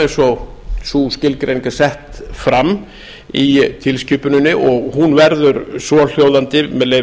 eins og sú skilgreining er sett fram í tilskipuninni og hún verður svohljóðandi með leyfi